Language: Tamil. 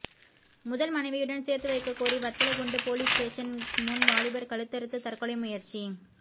முதல் மனைவியுடன் சேர்த்து வைக்கக் கோரி வத்தலக்குண்டு போலீஸ் ஸ்டேஷன் முன் வாலிபர் கழுத்தறுத்து தற்கொலை முயற்சி